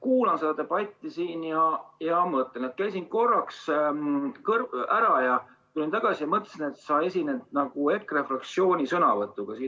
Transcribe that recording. Kuulasin seda debatti siin, käisin korraks ära, tulin tagasi ja mõtlesin, et sa esined EKRE fraktsiooni sõnavõtuga.